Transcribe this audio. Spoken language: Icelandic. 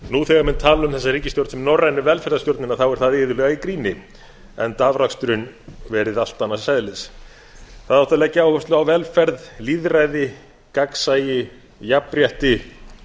nú þegar menn tala um þessa ríkisstjórn sem norrænu velferðarstjórnina er það iðulega í gríni enda afraksturinn verið allt annars eðlis það átti að leggja áherslu á velferð lýðræði gagnsæi jafnrétti